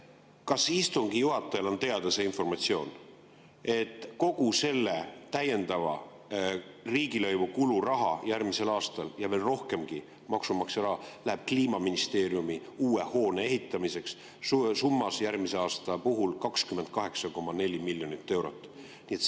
Kas istungi juhatajal on teada see informatsioon, et kogu selle täiendava riigilõivu kulu raha järgmisel aastal ja veel rohkem maksumaksja raha läheb Kliimaministeeriumi uue hoone ehitamiseks, järgmisel aastal summas 28,4 miljonit eurot?